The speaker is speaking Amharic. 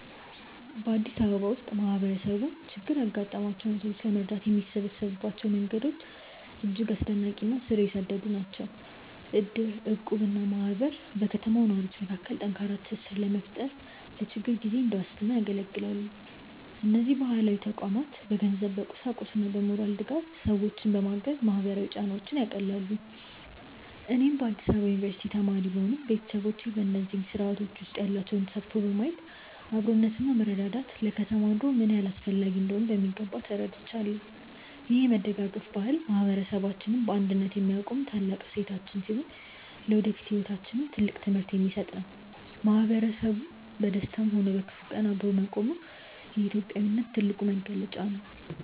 በአዲስ አበባ ውስጥ ማህበረሰቡ ችግር ያጋጠማቸውን ሰዎች ለመርዳት የሚሰበሰብባቸው መንገዶች እጅግ አስደናቂ እና ስር የሰደዱ ናቸው። እድር፣ እቁብ እና ማህበር በከተማው ነዋሪዎች መካከል ጠንካራ ትስስር በመፍጠር ለችግር ጊዜ እንደ ዋስትና ያገለግላሉ። እነዚህ ባህላዊ ተቋማት በገንዘብ፣ በቁሳቁስና በሞራል ድጋፍ ሰዎችን በማገዝ ማህበራዊ ጫናዎችን ያቃልላሉ። እኔም በአዲስ አበባ ዩኒቨርሲቲ ተማሪ ብሆንም፣ ቤተሰቦቼ በእነዚህ ስርአቶች ውስጥ ያላቸውን ተሳትፎ በማየት አብሮነትና መረዳዳት ለከተማ ኑሮ ምን ያህል አስፈላጊ እንደሆኑ በሚገባ ተረድቻለሁ። ይህ የመደጋገፍ ባህል ማህበረሰባችንን በአንድነት የሚያቆም ታላቅ እሴታችን ሲሆን፣ ለወደፊት ህይወታችንም ትልቅ ትምህርት የሚሰጥ ነው። ማህበረሰቡ በደስታም ሆነ በክፉ ቀን አብሮ መቆሙ የኢትዮጵያዊነት ትልቁ መገለጫ ነው።